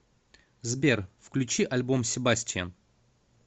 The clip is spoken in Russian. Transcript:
сбер включи альбом себастиан